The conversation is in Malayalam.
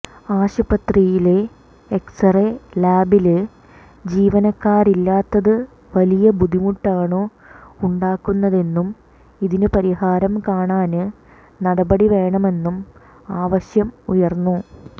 ആശുപത്രിയിലെ എക്സ്റേ ലാബില് ജീവനക്കാരില്ലാത്തത് വലിയ ബുദ്ധിമുട്ടാണുണ്ടാക്കുന്നതെന്നും ഇതിനു പരിഹാരം കാണാന് നടപടി വേണമെന്നും ആവശ്യം ഉയര്ന്നു